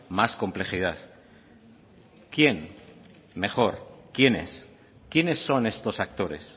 más complejidad quién mejor quiénes quiénes son estos actores